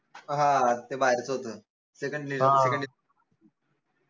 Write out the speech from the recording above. हां ते बाहेरच होत second